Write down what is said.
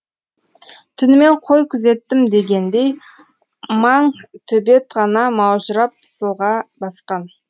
түнімен қой күзеттім дегендей маң төбет ғана маужырап пысылға басқан